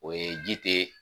O ye ji tɛ